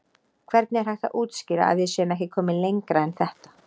Hvernig er hægt að útskýra að við séum ekki komin lengra en þetta?